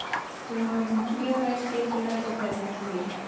Við vorum mjög vel skipulagðir og héldum því.